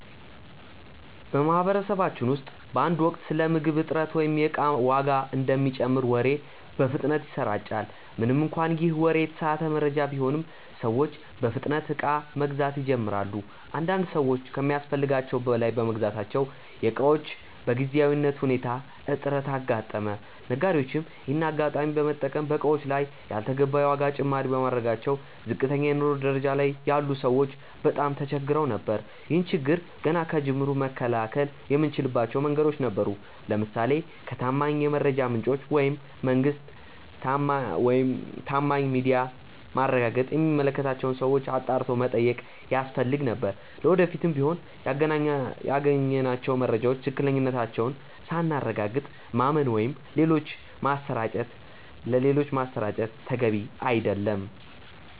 በማህበረሰባችን ውስጥ በአንድ ወቅት ስለ ምግብ እጥረት ወይም የእቃ ዋጋ እንደሚጨምር ወሬ በፍጥነት ይሰራጫል። ምንም እንኳን ይህ ወሬ የተሳሳተ መረጃ ቢሆንም፤ ሰዎች በፍጥነት እቃ መግዛት ይጀምራሉ። አንዳንድ ሰዎች ከሚያስፈልጋቸው በላይ በመግዛታቸው የእቃዎች በጊዜያዊ ሁኔታ እጥረት አጋጠመ። ነጋዴዎችም ይሄንን አጋጣሚ በመጠቀም በእቃዎቹ ላይ ያልተገባ የዋጋ ጭማሪ በማድረጋቸው ዝቅተኛ የኑሮ ደረጃ ላይ ያሉ ሰዎች በጣም ተቸግረው ነበር። ይህን ችግር ገና ከጅምሩ መከላከል የምንችልባቸው መንገዶች ነበሩ። ለምሳሌ ከታማኝ የመረጃ ምንጮች (መንግስት፣ ታማኝ ሚዲያ)ማረጋገጥ እና የሚመለከታቸውን ሰዎች አጣርቶ መጠየቅ ያስፈልግ ነበር። ለወደፊቱም ቢሆን ያገኘናቸውን መረጃዎች ትክክለኛነታቸውን ሳናረጋግጥ ማመን ወይም ሌሎች ማሰራጨት ተገቢ አይደለም።